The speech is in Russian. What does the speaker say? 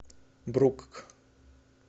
брукк